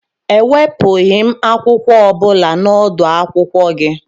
E wepughị m akwụkwọ ọ bụla na odu akwụkwọ gị